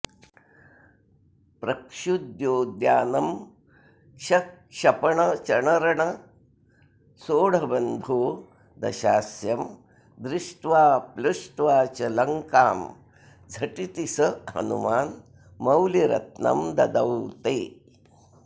प्रक्षुद्योद्यानमक्षक्षपणचणरणः सोढबन्धो दशास्यं दृष्ट्वा प्लुष्ट्वा च लङ्कां झटिति स हनुमान्मौलिरत्नं ददौ ते